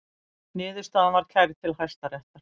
Niðurstaðan var kærð til Hæstaréttar